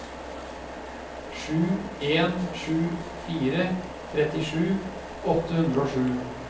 sju en sju fire trettisju åtte hundre og sju